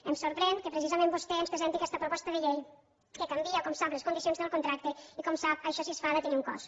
ens sorprèn que precisament vostè ens presenti aquesta proposta de llei que canvia com sap les condicions del contracte i com sap això si es fa ha de tenir un cost